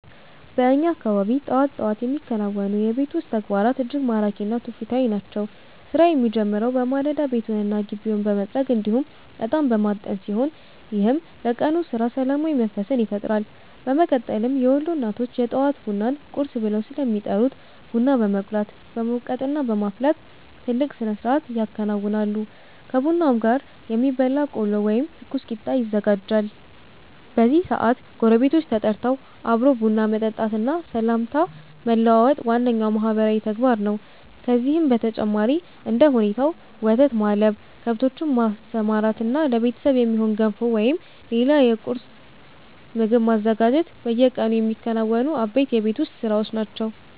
በእኛ አካባቢ ጠዋት ጠዋት የሚከናወኑ የቤት ውስጥ ተግባራት እጅግ ማራኪ እና ትውፊታዊ ናቸው። ስራው የሚጀምረው በማለዳ ቤቱንና ግቢውን በመጥረግ እንዲሁም እጣን በማጠን ሲሆን፣ ይህም ለቀኑ ስራ ሰላማዊ መንፈስን ይፈጥራል። በመቀጠልም የወሎ እናቶች የጠዋት ቡናን 'ቁርስ' ብለው ስለሚጠሩት ቡና በመቁላት፣ በመውቀጥና በማፍላት ትልቅ ስነስርዓት ያከናውናሉ። ከቡናውም ጋር የሚበላ ቆሎ ወይም ትኩስ ቂጣ ይዘጋጃል። በዚህ ሰዓት ጎረቤቶች ተጠርተው አብሮ ቡና መጠጣትና ሰላምታ መለዋወጥ ዋነኛው ማህበራዊ ተግባር ነው። ከዚህም በተጨማሪ እንደ ሁኔታው ወተት ማለብ፣ ከብቶችን ማሰማራትና ለቤተሰብ የሚሆን ገንፎ ወይም ሌላ የቁርስ ምግብ ማዘጋጀት በየቀኑ የሚከናወኑ አበይት የቤት ውስጥ ስራዎች ናቸው።